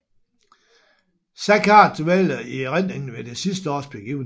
Saccard dvæler i erindringen ved det sidste års begivenheder